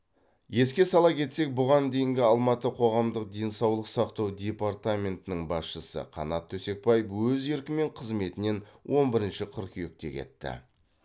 еске сала кетсек бұған дейінгі алматы қоғамдық денсаулық сақтау департаментінің басшысы қанат төсекбаев өз еркімен қызметінен он бірінші қыркүйекте кетті